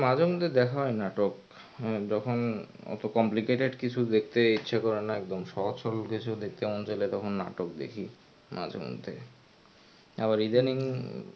হ্যাঁ মাঝে মধ্যে দেখা হয় নাটক যখন একটু complicated কিছু দেখতে ইচ্ছে করে একদম সহজ সরল দেখতে মন চাইলে তখন নাটক দেখি মাঝে মধ্যে আবার ইদানিং.